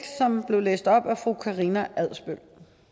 som blev læst op af fru karina adsbøl